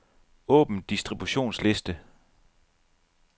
Åbn distributionsliste.